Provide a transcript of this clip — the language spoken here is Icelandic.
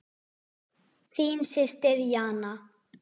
Þín systir Jana.